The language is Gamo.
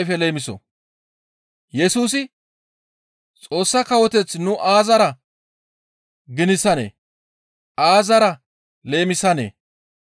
Yesusi, «Xoossa Kawoteth nu aazara ginisanee? Aazara leemisanee?